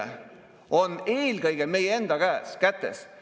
Vaat siis on julge olla, kui tervik koos seisab, ja siis on üldse mõtet teda kaitsta.